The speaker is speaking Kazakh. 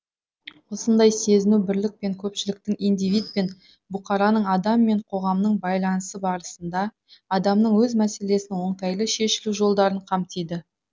осындай сезіну бірлік пен көпшіліктің индивид пен бұқараның адам мен қоғамның байланысы барысында адамның өз мәселесінің оңтайлы шешілу жолдарын қамтиды